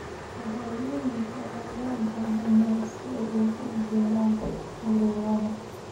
Shahaadooyinka ayaa loo baahan yahay si ay ugu biiraan ururada.